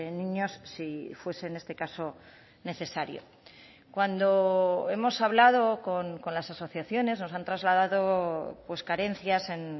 niños si fuese en este caso necesario cuando hemos hablado con las asociaciones nos han trasladado carencias en